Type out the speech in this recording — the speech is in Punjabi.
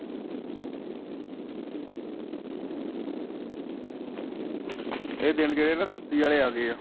ਇਹ ਦਿਨ ਜਿਹੜੇ ਨਾ ਸੁਸਤੀ ਵਾਲੇ ਆ ਗਏ ਆ।